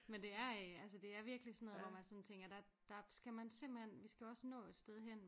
Men det er øh altså det er virkelig sådan noget hvor man sådan tænker der der skal man simpelthen vi skal også nå et sted hen